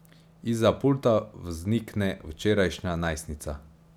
Izza pulta vznikne včerajšnja najstnica.